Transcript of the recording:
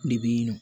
Ne bɛ nɔ